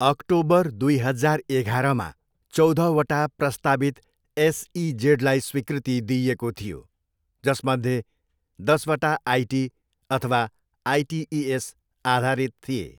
October दुई हजार एघारमा, चौधवटा प्रस्तावित एसइजेडलाई स्वीकृति दिइएको थियो, जसमध्ये दसवटा आइटी अथवा आइटिइएस आधारित थिए।